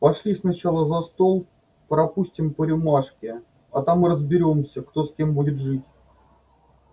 пошли сначала за стол пропустим по рюмашке а там и разберёмся кто с кем будет жить